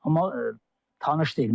Amma tanış deyil.